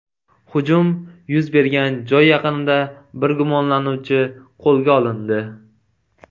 Hujum yuz bergan joy yaqinida bir gumonlanuvchi qo‘lga olindi.